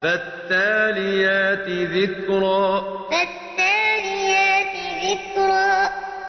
فَالتَّالِيَاتِ ذِكْرًا فَالتَّالِيَاتِ ذِكْرًا